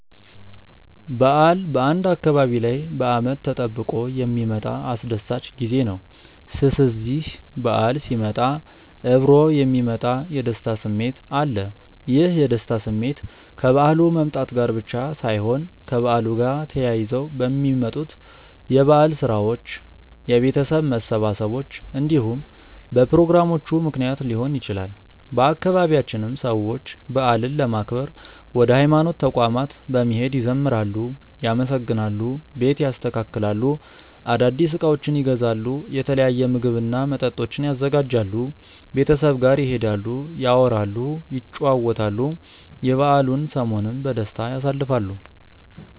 በዓል በአንድ አካባቢ ላይ በአመት ተጠብቆ የሚመጣ አስደሳች ጊዜ ነው። ስስዚህ በዓል ሲመጣ እብሮ የሚመጣ የደስታ ስሜት አለ። ይህ የደስታ ስሜት ከበዓሉ መምጣት ጋር ብቻ ሳይሆን ከበዓሉ ጋር ተያይዘው በሚመጡት የበዓል ስራዎች፣ የቤተሰብ መሰባሰቦች እንዲሁም በፕሮግራሞቹ ምክንያት ሊሆን ይችላል። በአባቢያችንም ሰዎች በዓልን ለማክበር ወደ ሀይማኖት ተቋማት በመሄድ ይዘምራሉ፣ ያመሰግናሉ፣ ቤት ያስተካክላሉ፣ አዳዲስ እቃዎችን ይገዛሉ፣ የተለያዩ ምግብ እና መጠጦችን ያዘጋጃሉ፣ ቤተሰብ ጋር ይሄዳሉ፣ ያወራሉ፣ ይጨዋወታሉ፣ የበዓሉን ሰሞንም በደስታ ያሳልፋሉ።